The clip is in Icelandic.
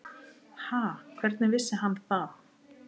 Ha, hvernig vissi hann það?